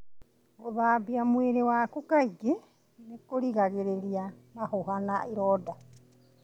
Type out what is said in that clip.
Gũthambia mwĩrĩ waku kaingĩ nĩ kũgiragĩrĩria mahũha na ironda.